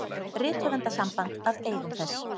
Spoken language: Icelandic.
Rithöfundasamband að eigum þess.